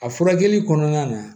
A furakɛli kɔnɔna na